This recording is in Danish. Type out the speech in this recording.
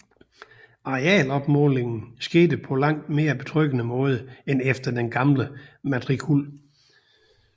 Arealopmålingen skete på langt mere betryggende måde end efter den gamle matrikul